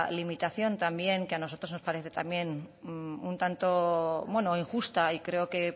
limitación que a nosotros nos parece también un tanto injusta y creo que